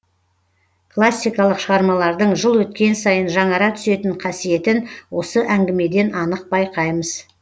классикалық шығармалардың жыл өткен сайын жаңара түсетін қасиетін осы әңгімеден анық байқаймыз